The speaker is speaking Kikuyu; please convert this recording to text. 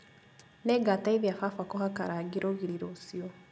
Nĩngateithia baba kũhaka rangi rũgiri rũciũ